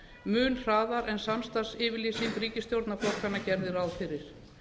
mun hraðar en samstarfsyfirlýsing ríkisstjórnarflokkanna gerði ráð fyrir